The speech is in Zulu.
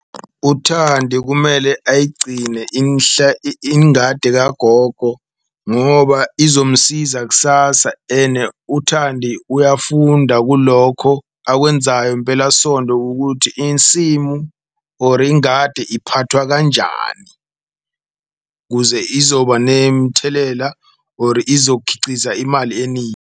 UThandi kumele ayigcine inhle ingadi kagogo ngoba izomsiza ksasa ene uThandi uyafunda kulokho akwenzayo impelasonto kukuthi insimu or ingadi iphathwa kanjani. Kuze izoba nemthelela or izokhiciza imali eningi.